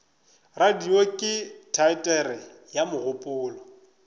radio ke teatere ya mogopolo